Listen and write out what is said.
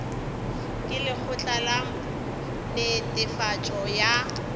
ke lekgotla la netefatšo ya